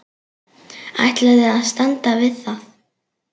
Ætlaði að standa við það.